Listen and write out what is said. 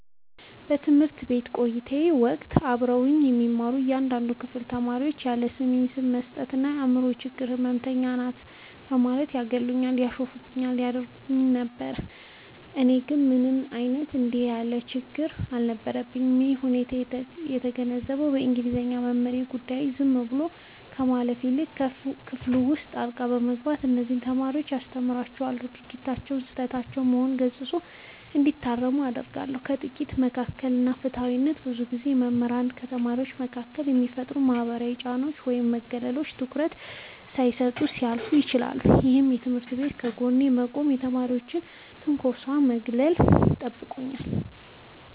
በትምህርት ቤት ቆይታዬ ወቅት አብረውኝ የሚማሩ አንዳንድ የክፍል ተማሪዎች ያለስሜ ስም በመስጠት እና "የአምሮ ችግር ህመምተኛ ናት" በማለት ያገሉኝና ያሾፉብኝ ያደርጉኝ ነበር። እኔ ግን ምንም አይነት እንዲህ ያለ ችግር አልነበረብኝም። ይህንን ሁኔታ የተገነዘበው የእንግሊዘኛ መምህሬ፣ በጉዳዩ ላይ ዝም ብሎ ከማለፍ ይልቅ በክፍል ውስጥ ጣልቃ በመግባት እነዚያን ተማሪዎች አስተምሯቸዋል፤ ድርጊታቸውም ስህተት መሆኑን ገስጾ እንዲታረሙ አድርጓል። ከጥቃት መከላከል እና ፍትሃዊነት፦ ብዙ ጊዜ መምህራን ከተማሪዎች መካከል የሚፈጠሩ ማህበራዊ ጫናዎችን ወይም መገለሎችን ትኩረት ሳይሰጡ ሊያልፉ ይችላሉ። ይህ መምህር ግን ከጎኔ በመቆም ከተማሪዎች ትንኮሳና ማግለል ጠብቆኛል።